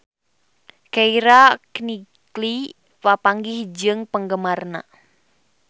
Keira Knightley papanggih jeung penggemarna